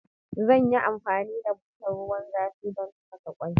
Zan yi amfani da butar ruwan zafi don tafasa ƙwai.